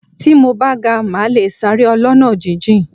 Tí mo bá ga, màá le sáré ọlọ́nà jíjìn.